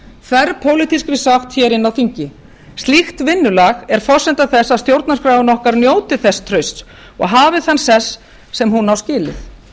sátt hér inni á þingi slíkt vinnulag er forsenda þess að stjórnarskráin okkar njóti þess trausts og hafi þann sess sem hún á skilið